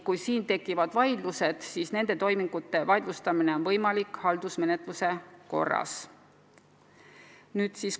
Kui tekivad probleemid, siis on neid toiminguid võimalik vaidlustada haldusmenetluse korras.